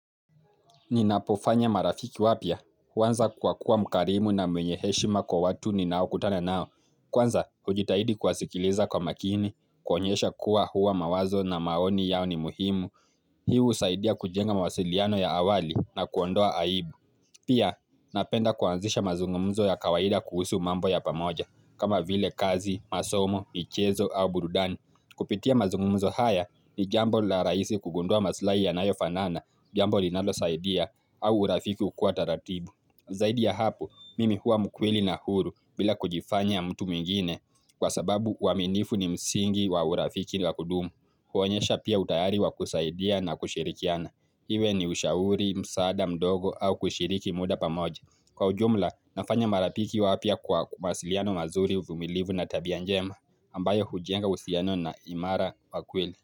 Ni napofanya marafiki wapya, huanza kuwa kuwa mkarimu na mwenyeheshima kwa watu ni nao kutana nao. Kwanza, hujitahidi kuwasikiliza kwa makini, kuwaonyesha kuwa huwa mawazo na maoni yao ni muhimu. Hii husaidia kujenga mawasiliano ya awali na kuondoa aibu. Pia, napenda kuanzisha mazungumzo ya kawaida kuhusu mambo ya pamoja, kama vile kazi, masomo, michezo au bududani. Kupitia mazungumzo haya ni jambo la rahisi kugundua masilahi ya yanayofanana, jambo linalo saidia. Au urafiki ukua taratibu. Zaidi ya hapo, mimi huwa mkweli na huru bila kujifanya mtu mwingine kwa sababu waminifu ni msingi wa urafiki la kudumu. Huonyesha pia utayari wa kusaidia na kushirikiana. Iwe ni ushauri, msaada, mdogo au kushiriki muda pamoja. Kwa ujumla, nafanya marapiki wapya kwa masiliano mazuri uvumilivu na tabianjema ambayo hujenga uhusiano na imara kwa kweli.